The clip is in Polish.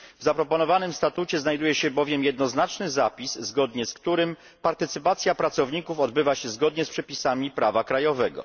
W zaproponowanym statucie znajduję się bowiem jednoznaczny zapis, zgodnie z którym partycypacja pracowników odbywa się zgodnie z przepisami prawa krajowego.